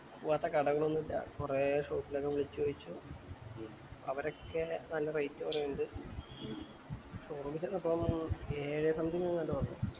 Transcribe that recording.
വ്ടെ കടകൾ ഒന്ന് ഇല്ല കൊറേ shape ലൊക്കെ വിളിച്ച് ചോതിച്ചു അവരോക്കെ നല്ല rate പറേന്നിണ്ട് show room ചെന്നപ്പോ ഏഴേ something അങ്ങാറ്റ പറഞ്ഞെ